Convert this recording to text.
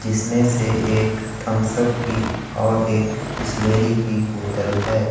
जिसमें से एक थम्स अप की और एक बिसलेरी की बोतल है।